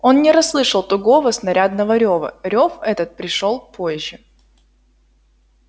он не расслышал тугого снарядного рёва рёв этот пришёл позже